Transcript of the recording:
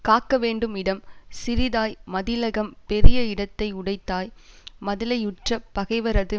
காக்கவேண்டும் இடம் சிறிதாய் மதிலகம் பெரிய இடத்தை உடைத்தாய் மதிலையுற்ற பகைவரது